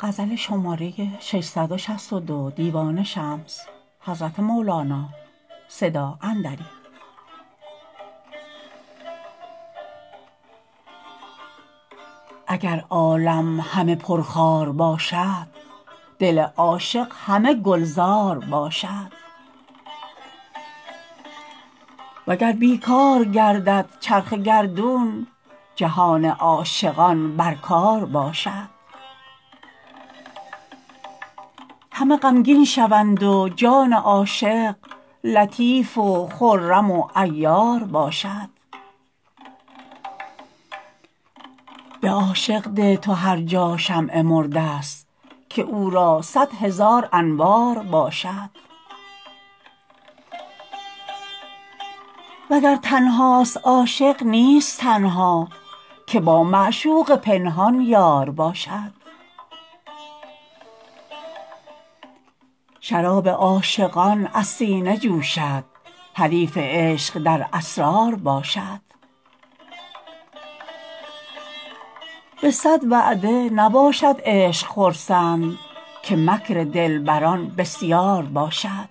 اگر عالم همه پرخار باشد دل عاشق همه گلزار باشد وگر بی کار گردد چرخ گردون جهان عاشقان بر کار باشد همه غمگین شوند و جان عاشق لطیف و خرم و عیار باشد به عاشق ده تو هر جا شمع مرده ست که او را صد هزار انوار باشد وگر تنهاست عاشق نیست تنها که با معشوق پنهان یار باشد شراب عاشقان از سینه جوشد حریف عشق در اسرار باشد به صد وعده نباشد عشق خرسند که مکر دلبران بسیار باشد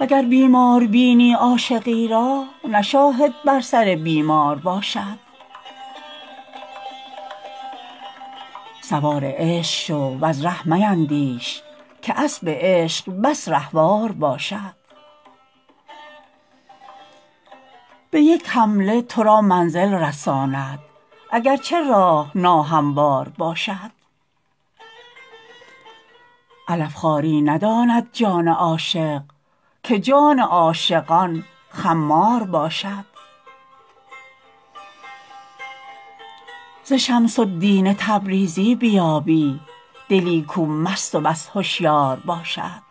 وگر بیمار بینی عاشقی را نه شاهد بر سر بیمار باشد سوار عشق شو وز ره میندیش که اسب عشق بس رهوار باشد به یک حمله تو را منزل رساند اگر چه راه ناهموار باشد علف خواری نداند جان عاشق که جان عاشقان خمار باشد ز شمس الدین تبریزی بیابی دلی کو مست و بس هشیار باشد